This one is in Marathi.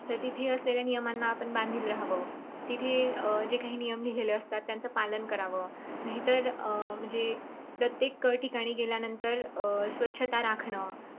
तर तिथे असलेल्या नियमाना आपण मान द्यायला हवं. तिथं जे काही नियम लिहलेले असतात. त्यांचं पालन करावं नाहीतर अं म्हणजे प्रत्येक ठिकाणी गेल्यानंतर अं स्वच्छता राखण